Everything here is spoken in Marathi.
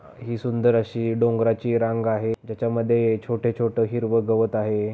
ही सुंदर अशी डोंगराची रांग आहे ज्याच्यामध्ये छोटे-छोट हिरव गवत आहे.